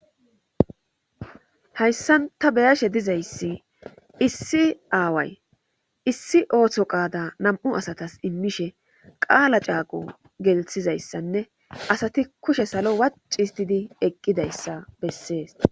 hayssan ta beyashe dizayssi issi aaway issi ootho qaada nam7u asatas immishe qaala caaqo gelthizayssanne asati kushe salo wac histidi eqqidayssa bessees